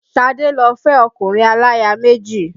Ṣadé lọ fẹ́ ọkùnrin aláya méjì